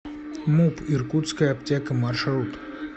муп иркутская аптека маршрут